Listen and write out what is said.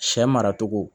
Sɛ mara cogo